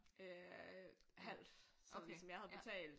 Øh halvt så ligesom sådan jeg havde betalt